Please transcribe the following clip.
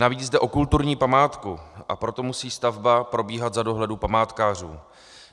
Navíc jde o kulturní památku, a proto musí stavba probíhat za dohledu památkářů.